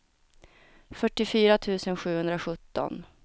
fyrtiofyra tusen sjuhundrasjutton